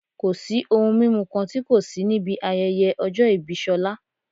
Kò sí ohun mímu kan tí kò sí níbi ayẹyẹ ọjọ́ ìbí Ṣọlá